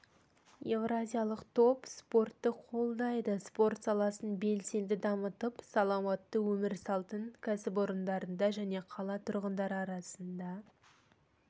еуразиялық топ спортты қолдайды спорт саласын белсенді дамытып саламатты өмір салтын кәсіпорындарында және қала тұрғындары арасында